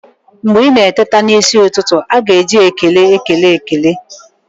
Mgbe ị na-eteta n'isi ụtụtụ, a ga-eji ekele ekele ekele